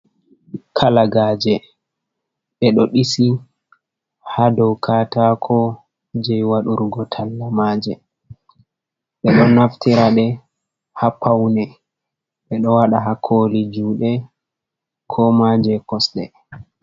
Kalagaaje, ɓe ɗo ɗisi haa do kataako je waɗurgo talla maaje, ɓe ɗo naftira ɗe haa paune, ɓe ɗo waɗa haa kooli juuɗe, koma je kosɗe.